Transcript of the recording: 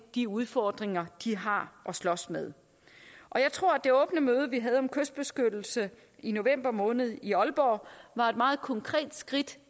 de udfordringer de har at slås med jeg tror at det åbne møde vi havde om kystbeskyttelse i november måned i aalborg var et meget konkret skridt